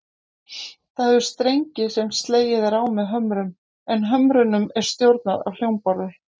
Það hefur strengi sem slegið er á með hömrum, en hömrunum er stjórnað af hljómborði.